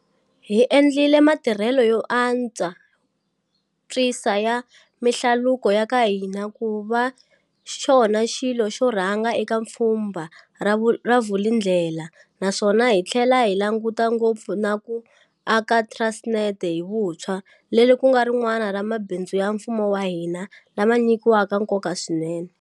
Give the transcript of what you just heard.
Hi endlile matirhelo yo antswisa ya mihlaluko ya ka hina ku va xona xilo xo rhanga eka Pfhumba ra Vulindlela naswona hi tlhela hi langutana ngopfu na ku aka Transnet hi vuntshwa, leri ku nga rin'wana ra mabindzu ya mfumo wa hina lama nyikiwaka nkoka swinene.